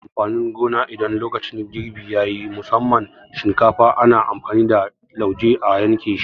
Ana yanke amfanin gona idan lokacin girbi yayi, musamman shinkafa ana amfani da lauje a yanke shi